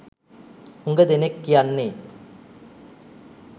හුඟ දෙනෙක් කියන්නේ.